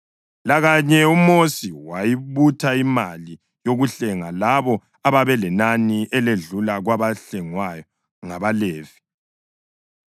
Lakanye uMosi wayibutha imali yokuhlenga labo ababelinani eledlula kwabahlengwa ngabaLevi.